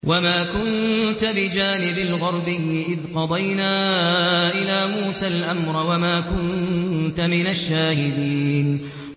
وَمَا كُنتَ بِجَانِبِ الْغَرْبِيِّ إِذْ قَضَيْنَا إِلَىٰ مُوسَى الْأَمْرَ وَمَا كُنتَ مِنَ الشَّاهِدِينَ